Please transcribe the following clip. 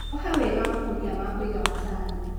Oha wega makũnia ma kũiga macani.